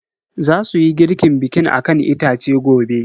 Zasuyi girkin bikin akan itace gobe.